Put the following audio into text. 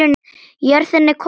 Jörðin er komin í eyði.